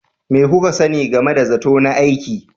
Me kuka sani game da zato na aiki?